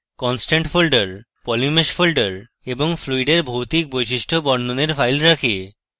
constant folder polymesh folder এবং ফ্লুইডের ভৌতিক বৈশিষ্ট্য বর্ণনের ফাইল রাখে